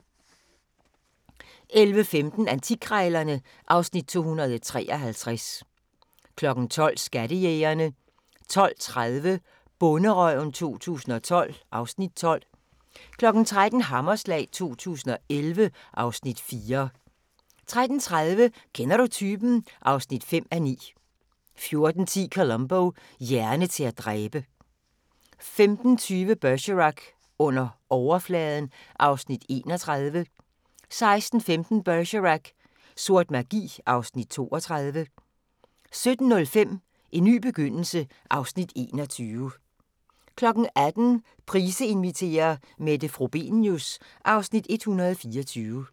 11:15: Antikkrejlerne (Afs. 253) 12:00: Skattejægerne 12:30: Bonderøven 2012 (Afs. 12) 13:00: Hammerslag 2011 (Afs. 4) 13:30: Kender du typen? (5:9) 14:10: Columbo: Hjerne til at dræbe 15:20: Bergerac: Under overfladen (Afs. 31) 16:15: Bergerac: Sort magi (Afs. 32) 17:05: En ny begyndelse (Afs. 21) 18:00: Price inviterer – Mette Frobenius (Afs. 124)